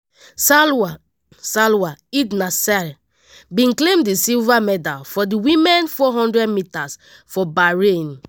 salwa salwa eid naser bin claim di silver medal for di women 400 metres for bahrain.